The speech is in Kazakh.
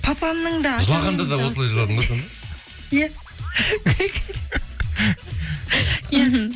жылағанда да осылай жыладың ба сонда